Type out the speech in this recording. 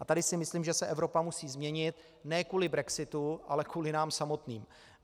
A tady si myslím, že se Evropa musí změnit ne kvůli brexitu, ale kvůli nám samotným.